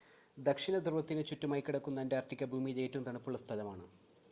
ദക്ഷിണധ്രുവത്തിന് ചുറ്റുമായി കിടക്കുന്ന അൻ്റാർട്ടിക്ക ഭൂമിയിലെ ഏറ്റവും തണുപ്പുള്ള സ്ഥലമാണ്